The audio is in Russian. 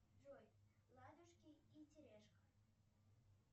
джой ладушки и тележка